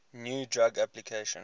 new drug application